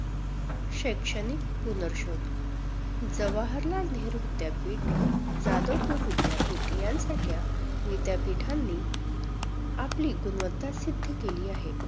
शैक्षणिक पुनर्शोध, जवाहरलाल नेहरु विद्यापीठ, जाधव पूर्व विद्यापीठ यांसारख्या विद्यपीठांनी आपली गुणवत्ता सिद्ध केली आहे.